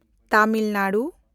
Tamil Nadu